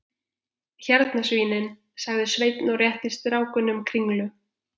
Hérna svínin, sagði Sveinn og rétti strákunum kringlu.